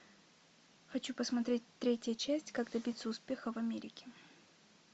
хочу посмотреть третья часть как добиться успеха в америке